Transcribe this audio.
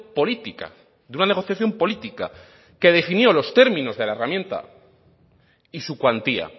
política de una negociación política que definió los términos de la herramienta y su cuantía